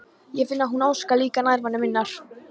Ég finn að hún óskar líka nærveru minnar.